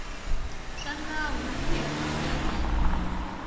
swa nawu wihi kumbe wihi